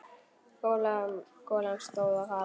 Golan stóð af hafi.